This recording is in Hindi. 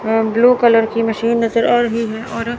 ब्लू कलर की मशीन नजर आ रही है और--